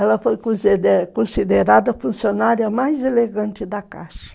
Ela foi conside considerada a funcionária mais elegante da Caixa.